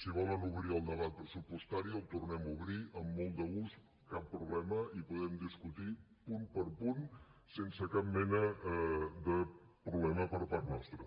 si volen obrir el debat pressupostari el tornem a obrir amb molt de gust cap problema i podem discutir punt per punt sense cap mena de problema per part nostra